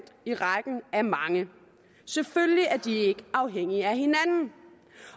i rækken af mange selvfølgelig er de ikke afhængige af hinanden